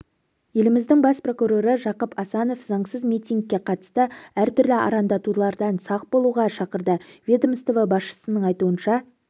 еліміздің бас прокуроры жақып асанов заңсыз митингіге қатысты әртүрлі араңдатулардан сақ болуға шақырды ведомство басшысының айтуынша